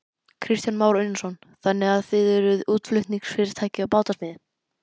Kristján Már Unnarsson: Þannig að þið eruð útflutningsfyrirtæki í bátasmíði?